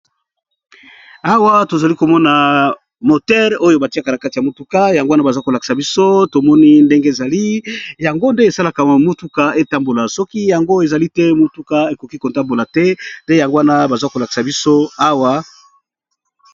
Awa tozali komona motere oyo batiaka na kati ya motuka yango wana baza kolakisa biso tomoni ndenge ezali yango nde esalaka motuka etambola soki yango ezali te motuka ekoki kotambola te nde yango wana baza kolakisa biso awa.